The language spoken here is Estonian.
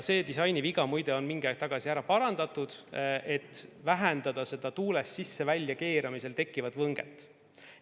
See disainiviga muide on mingi aeg tagasi ära parandatud, et vähendada seda tuules sisse‑ ja väljakeeramisel tekkivat võnget.